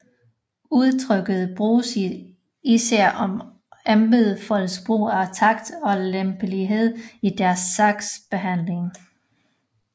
Udtrykket bruges især om embedsfolks brug af takt og lempelighed i deres sagsbehandling